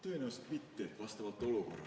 Tõenäoliselt mitte, vastavalt olukorrale.